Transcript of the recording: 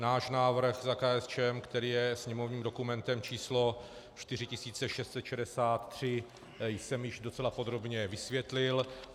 Náš návrh za KSČM, který je sněmovním dokumentem č. 4663, jsem již docela podrobně vysvětlil.